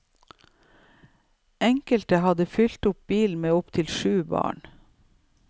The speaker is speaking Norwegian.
Enkelte hadde fylt opp bilen med opptil syv barn.